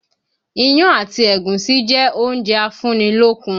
Iyán àti ẹ̀gúsí jẹ́ oúnjẹ a fún ní lókun